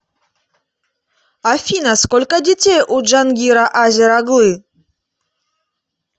афина сколько детей у джангира азер оглы